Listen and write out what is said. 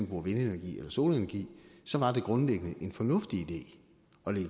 bruger vindenergi eller solenergi så var det grundlæggende en fornuftig idé